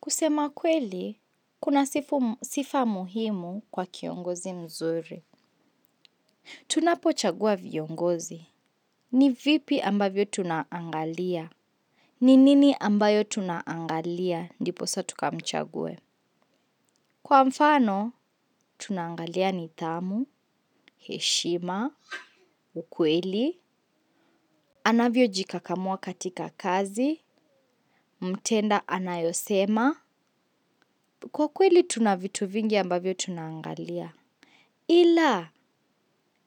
Kusema kweli kuna sifa muhimu kwa kiongozi mzuri. Tunapo chagua viongozi. Ni vipi ambavyo tunaangalia. Ni nini ambayo tunaangalia. Ndipo sa tukamchagwe. Kwa mfano, tunaangalia ni thamu, heshima, ukweli. Anavyo jikakamua katika kazi. Mtenda anayosema. Kwa kweli, tuna vitu vingi ambavyo tunaangalia. Ila,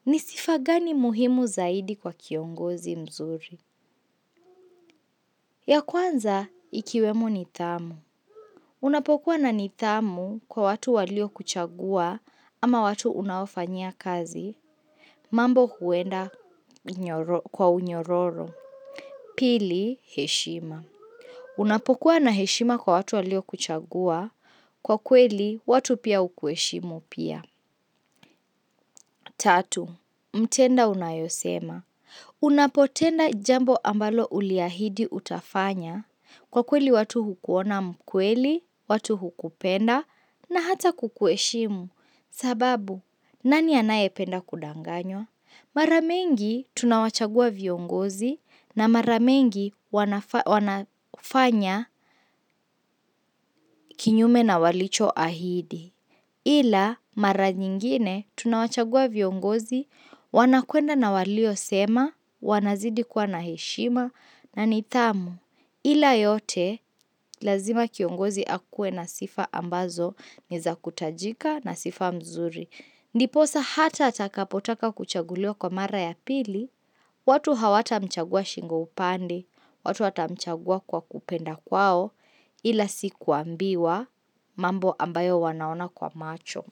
nisifagani muhimu zaidi kwa kiongozi mzuri. Ya kwanza, ikiwemo nitamu. Unapokuwa na nitamu kwa watu walio kuchagua ama watu unaofanyia kazi, mambo huenda kwa unyororo. Pili, heshima. Unapokuwa na heshima kwa watu walio kuchagua, kwa kweli watu pia ukueshimu pia. Tatu, mtenda unayosema. Unapotenda jambo ambalo uliahidi utafanya. Kwa kweli watu hukuona mkweli, watu hukupenda na hata kukueshimu. Sababu, nani anaye penda kudanganywa? Maramingi tunawachagua viongozi na maramingi wanafanya kinyume na walicho ahidi. Ila mara nyingine, tunawachagua viongozi, wanakuenda na walio sema, wanazidi kuwa naheshima, na nitamu. Ila yote, lazima kiongozi akue na sifa ambazo, niza kutajika na sifa mzuri. Ndiposa hata atakapotaka kuchagulio kwa mara ya pili, watu hawata mchagua shingo upande, watu watamchagua kwa kupenda kwao ila sikuambiwa mambo ambayo wanaona kwa macho.